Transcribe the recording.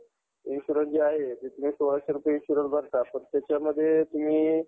insurance जे आहे ते सोळाशे रुपय insurance भारतात फ़क्त त्याच्यामध्ये तुम्ही